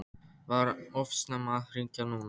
Var of snemmt að hringja núna?